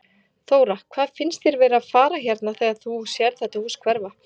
Þóra: Hvað finnst þér vera að fara hérna þegar þú sérð þetta hús hverfa?